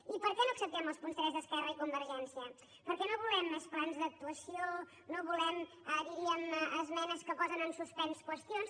i per què no acceptem els punts tres d’esquerra i convergència perquè no volem més plans d’actuació no volem diríem esmenes que posen en suspens qüestions